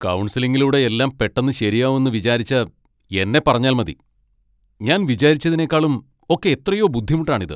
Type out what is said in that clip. കൗൺസിലിങ്ങിലൂടെ എല്ലാം പെട്ടെന്ന് ശരിയാവും എന്ന് വിചാരിച്ച എന്നെ പറഞ്ഞാൽ മതി. ഞാൻ വിചാരിച്ചതിനെക്കാളും ഒക്കെ എത്രയോ ബുദ്ധിമുട്ടാണ് ഇത്.